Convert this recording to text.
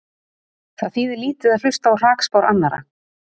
Það þýðir lítið að hlusta á hrakspár annarra.